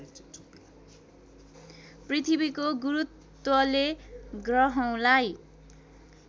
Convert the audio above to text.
पृथ्वीको गुरूत्वले गह्रौँलाई